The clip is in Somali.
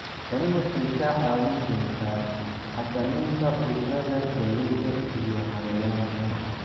Tani waxay kaa caawin doontaa xakamaynta cudurrada galleyda iyo cayayaanka.